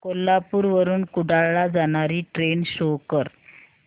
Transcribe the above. कोल्हापूर वरून कुडाळ ला जाणारी ट्रेन शो कर